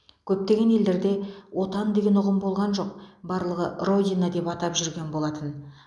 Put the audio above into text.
көптеген елдерде отан деген ұғым болған жоқ барлығы родина деп атап жүрген болатын